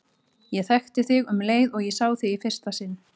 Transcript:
Ég þekkti þig um leið og ég sá þig í fyrsta sinn.